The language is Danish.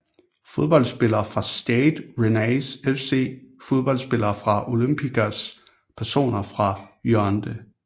Fodboldspillere fra Stade Rennais FC Fodboldspillere fra Olympiakos Personer fra Yaounde